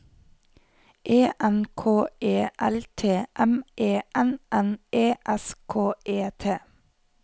E N K E L T M E N N E S K E T